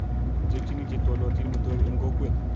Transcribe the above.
Ichekyini che twalyotin metoek eng kokwet